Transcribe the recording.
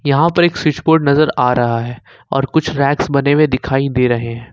यहां पर एक स्विच बोर्ड नजर आ रहा है और कुछ रैक्स बने हुए दिखाई दे रहे हैं।